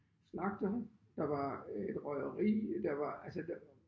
Slagterhu der var et røgeri der var altså der